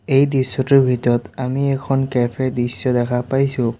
এই দৃশ্যটোৰ ভিতৰত আমি এখন কেফেৰ দৃশ্য দেখা পাইছোঁ।